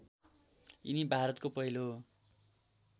यिनी भारतको पहिलो